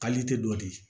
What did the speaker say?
dɔ di